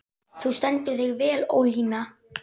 Þú stendur þig vel, Ólína!